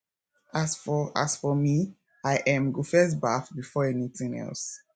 as for as for me i um go first baff before anything else